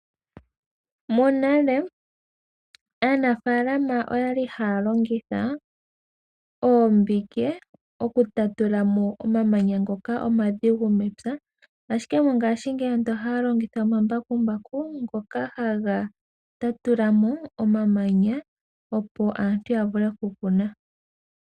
Monale aanafaalama oya li haya longitha oombike okutatula mo omamanya ngoka omadhigu mepya. Ashike mongashingeyi ohaya longitha omambakumbaku ngoka haga tatulamo omamanya opo aantu ya vule okukuna.